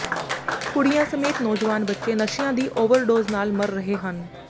ਕੁੜੀਆਂ ਸਮੇਤ ਨੌਜਵਾਨ ਬੱਚੇ ਨਸ਼ਿਆਂ ਦੀ ਓਵਰਡੋਜ਼ ਨਾਲ ਮਰ ਰਹੇ ਹਨ